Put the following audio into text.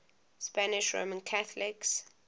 spanish roman catholics